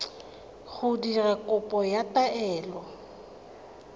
go dira kopo ya taelo